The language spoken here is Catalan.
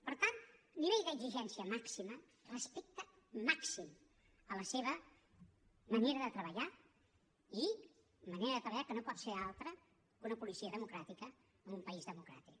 per tant nivell d’exigència màxima respecte màxim a la seva manera de treballar i manera de treballar que no pot ser altra que una policia democràtica en un país democràtic